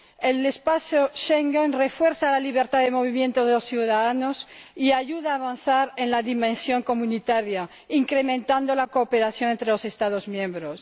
El espacio Schengen refuerza la libertad de movimientos de los ciudadanos y ayuda a avanzar en la dimensión comunitaria, incrementando la cooperación entre los Estados miembros.